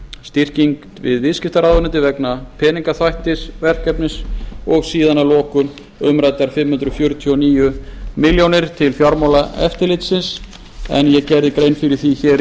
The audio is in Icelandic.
styrking við viðskiptaráðuneytið vegna peningaþvættisverkefnis að lokum eru umræddar fimm hundruð fjörutíu og níu milljónir til fjármálaeftirlitsins en ég gerði grein fyrir því